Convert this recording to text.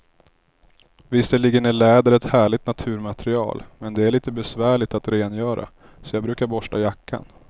Visserligen är läder ett härligt naturmaterial, men det är lite besvärligt att rengöra, så jag brukar borsta jackan.